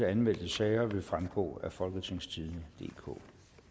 anmeldte sager vil fremgå af folketingstidende DK